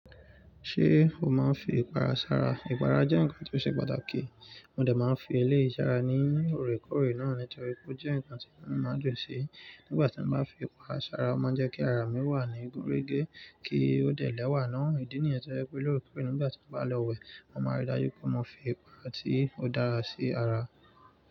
Ṣé o máa ń fi ipara sara? Ipara jẹ́ nǹkan tí ó ṣe pàtàkì. Mo de máa ń fi eléyìí sara ní òrékóòrè náà nítorí pé ó jẹ́ nǹkan tí mo máa ń dùn sí. Nígbà tí mo bá fi ipara sara, ó máa ń jẹ́ kí ara mi wà ní gunrége kí ó dẹ̀ lẹ́wà ná. Ìdí nìyẹn tó jẹ́ pé lo'òrékòòrè nígbà tí mo bá lọ wẹ̀, mo máa rí dájú pé mo fi ipara tí ó dára sí ara.